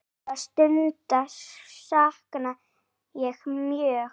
Þeirra stunda sakna ég mjög.